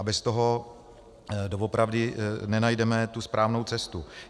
A bez toho doopravdy nenajdeme tu správnou cestu.